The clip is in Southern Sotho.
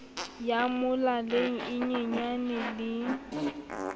ya molaleng e nyenyane le